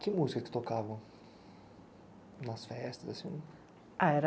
Que música você tocava nas festas assim?